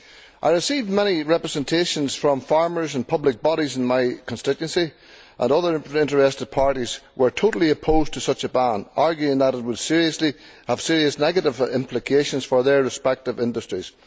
I have received many representations from farmers and public bodies in my constituency, and other interested parties, who are totally opposed to such a ban, arguing that it would have serious negative implications for their respective industries.